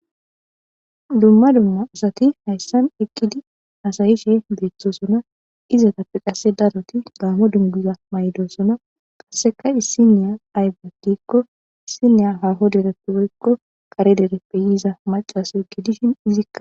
dumma dumma asati hayssan eqqidi hasayishe beettosona izatappe qasse daroti gaamo dungiza maydosona qasseka issi niya aybe diikko issiniya haaho derepiykko kare dere pe yiza macasu egidishin izikka